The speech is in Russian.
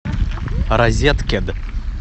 розеткед